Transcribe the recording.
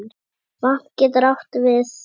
Vatn getur átt við